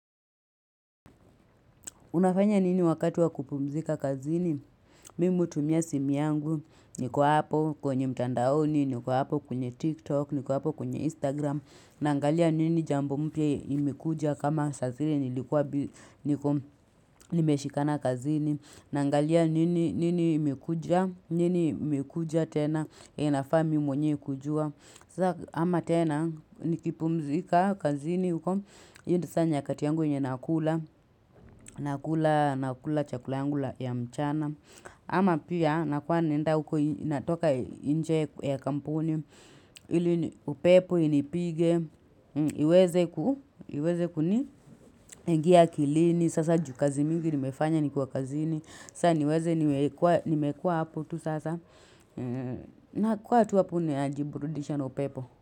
Unafanya nini wakati wa kupumzika kazini? Mimi hutumia simi yangu, nikuwa hapo kwenye mtandaoni, nikuwa hapo kwenye TikTok, nikuwa hapo kwenye Instagram. Nangalia nini jambo mpye imekuja kama sasile nilikuwa nimeshika na kazini. Nangalia nini imekuja, nini imekuja tena, inafami mwenyewe kujua. Sama tena, nikipumzika kazini. Huko, hindi saa nyakati yangu inye nakula nakula, nakula, chakula yangu la ya mchana ama pia nakuwa nenda huko inatoka inje ya kampuni upepo inipige iweze kuni ingia akilini sasa jukazi mingi nimefanya nikuwa kazini saa niweze nimekua hapo tu sasa na kuwa tu hapo ninajiburudisha upepo.